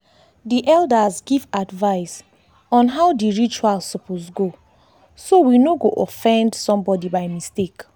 dey elders give advice on how dey rituals suppose go so we no go offend somebody by mistake.